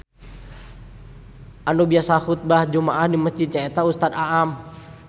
Anu biasa khutbah jumaah di mesjid nyaeta Ustad Aam